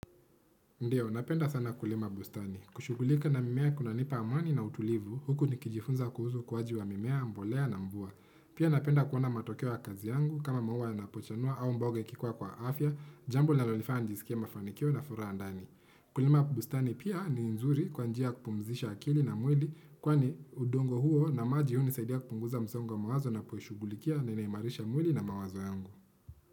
Ndio, napenda sana Kulima bustani. Kushughulika na mimea kuna nipa amani na utulivu, huku nikijifunza kuhusu ukuwaji wa mimea, mbolea na mvua. Pia napenda kuona matokeo ya kazi yangu, kama maua yanapochanua au mboga ikikua kwa afya, jambo linalonifanya nijiskie mafanikio na furaha ndani. Kulima bustani pia ni nzuri kwa njia ya kupumzisha akili na mwili, kwani udongo huo na maji hunisaidia kupunguza msongo wa mawazo ninapoishughulikia na inaimarisha mwili na mawazo yangu.